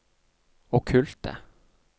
okkulte